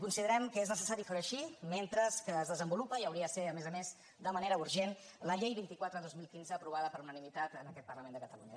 considerem que és necessari ferho així mentre es desenvolupa i hauria de ser a més a més de manera urgent la llei vint quatre dos mil quinze aprovada per unanimitat en aquest parlament de catalunya